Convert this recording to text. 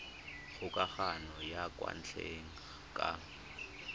kgokagano ya kwa ntle ka